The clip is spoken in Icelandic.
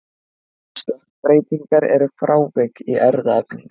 stökkbreytingar eru frávik í erfðaefninu